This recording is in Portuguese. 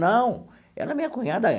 Não, ela é minha cunhada.